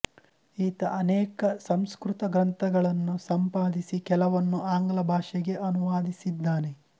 ಈತ ಅನೇಕ ಸಂಸ್ಕೃತ ಗ್ರಂಥಗಳನ್ನು ಸಂಪಾದಿಸಿ ಕೆಲವನ್ನು ಆಂಗ್ಲಭಾಷೆಗೆ ಅನುವಾದಿಸಿದ್ದಾನೆ